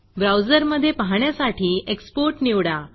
browser मध्ये पाहण्यासाठी export निवडा